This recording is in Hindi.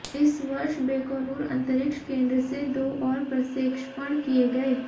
इस वर्ष बैकोनूर अंतरिक्ष केंद्र से दो और प्रक्षेपण किए गए